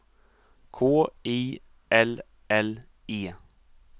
K I L L E